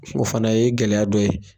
O fana ye gɛlɛya dɔ ye